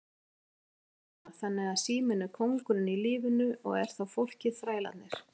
Una: Þannig að síminn er kóngurinn í lífinu og er þá fólkið þrælarnir?